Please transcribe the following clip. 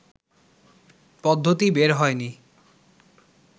পদ্ধতি বের হয়নি